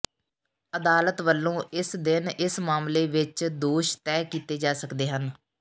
ਅਦਾਲਤ ਵੱਲੋਂ ਇਸ ਦਿਨ ਇਸ ਮਾਮਲੇ ਵਿੱਚ ਦੋਸ਼ ਤਹਿ ਕੀਤੇ ਜਾ ਸਕਦੇ ਹਨ